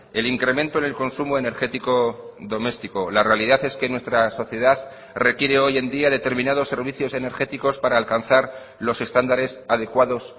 el incremento en el consumo energético doméstico la realidad es que nuestra sociedad requiere hoy en día determinados servicios energéticos para alcanzar los estándares adecuados